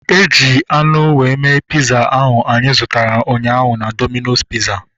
Eji anụ were mee piza ahu anyị zụtara ụnyaahụ na Domino's piza